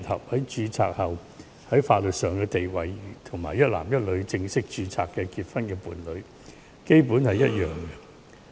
經註冊後同性伴侶在法律上的地位，與一男一女正式註冊結婚的伴侶，基本上是一樣的。